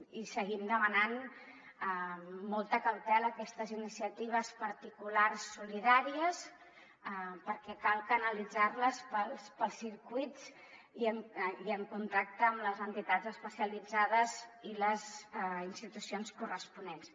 i seguim demanant molta cautela a aquestes iniciatives particulars i solidàries perquè cal canalitzar les pels circuits i en contacte amb les entitats especialitzades i les institucions corresponents